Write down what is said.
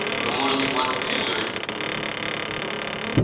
вы можете платить землёй